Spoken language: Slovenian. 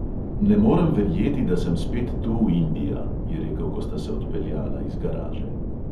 "Ne morem verjeti, da sem spet tu, india," je rekel, ko sta se odpeljala iz garaže.